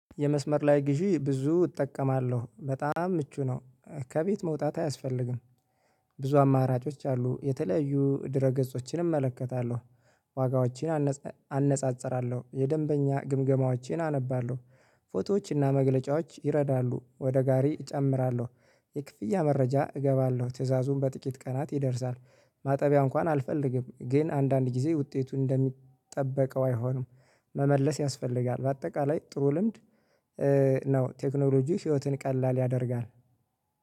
የመስመር ላይ ግዢ ብዙ እጠቀማለሁ በጣም ምቹ ነው ከቤት መውጣት አያስፈልግም። ብዙ አማራጮች አሉ የተለያዩ ድረ ገጾችን እመለከታለሁ ዋጋዎችን አነጻጽራለሁ የደንበኛ ግምገማዎቼን አነባለሁ። ፎቶዎችና መግለጫዎች ይረዳሉ ወደ ጋሪ እጨምራለሁ የክፍያ መረጃ እገባለሁ ትእዛዙን በጥቂት ቀናት ይደርሳል። ማጠቢያ እንኳን አልፈልግም ግን አንዳንድ ጊዜ ውጤቱን እንደሚጠበቀው አይሆንም። መመለስ ያስፈልጋል በአጠቃላይ ጥሩ ልምድ ነው። ቴክኖሎጂ ህይወትን ቀላል ያደርጋል